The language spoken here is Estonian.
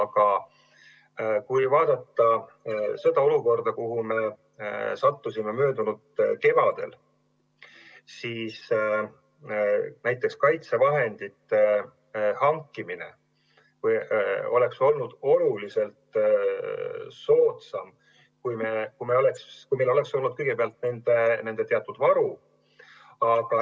Aga kui vaadata seda olukorda, kuhu me sattusime möödunud kevadel, siis näiteks kaitsevahendite hankimine oleks olnud oluliselt soodsam, kui meil oleks olnud kõigepealt nende teatud varu.